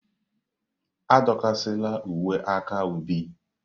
Adọkasịla uwe aka ubi!